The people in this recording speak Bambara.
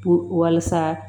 Puru walasa